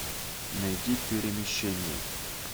найди перемещение